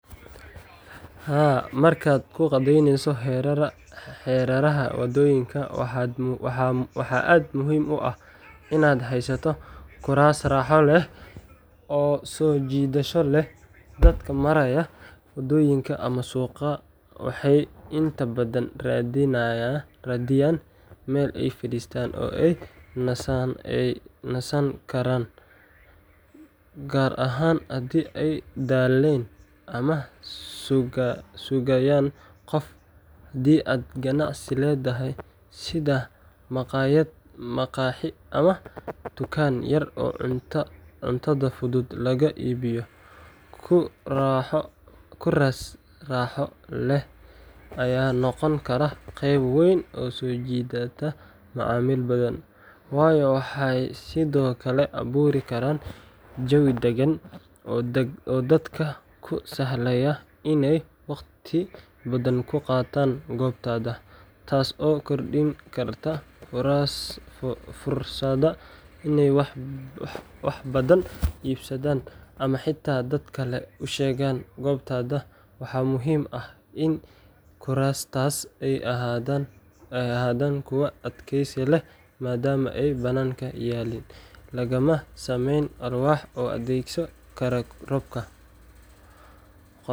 Haa, markaad kuu qaadaynayso hareeraha waddooyinka, waxaa aad muhiim u ah inaad haysato kuraas raaxo leh oo soo jiidasho leh. Dadka maraya waddooyinka ama suuqa waxay inta badan raadiyaan meel ay fariistaan oo ay nasan karaan, gaar ahaan haddii ay daaleen ama sugayaan qof. Haddii aad ganacsi leedahay, sida makhaayad, maqaaxi, ama dukaan yar oo cuntada fudud laga iibiyo, kuraas raaxo leh ayaa noqon kara qayb weyn oo soo jiidata macaamiil badan. Waxay sidoo kale abuuri karaan jawi degan oo dadka u sahlaya inay waqti badan ku qaataan goobtaada, taas oo kordhin karta fursadda inay wax badan iibsadaan ama xitaa dad kale u sheegaan goobtaada. Waxaa muhiim ah in kuraastaas ay ahaadaan kuwo adkeysi leh maadaama ay bannaanka yaalliin, lagana sameeyo walxo u adkaysan kara roobka.